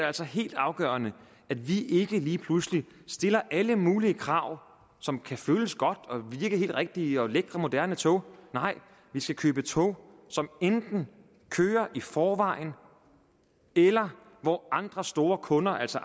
altså helt afgørende at vi ikke lige pludselig stiller alle mulige krav som kan føles godt og virke helt rigtige og med lækre moderne tog nej vi skal købe tog som enten kører i forvejen eller hvor andre store kunder altså